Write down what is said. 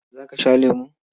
Za ka sha lemo?